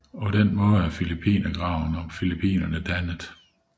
På den måde er Filippinergraven og Filippinerne dannet